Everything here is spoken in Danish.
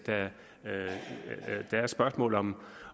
der er spørgsmålet om